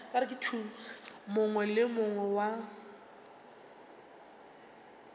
mongwe le yo mongwe wa